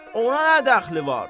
Ona nə dəxli var?